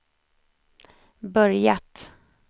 börjat